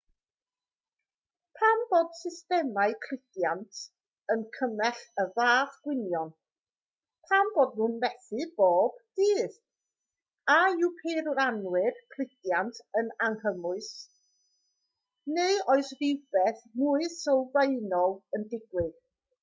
pam bod systemau cludiant yn cymell y fath gwynion pam bod nhw'n methu bob dydd a yw peirianwyr cludiant yn anghymwys neu oes rhywbeth mwy sylfaenol yn digwydd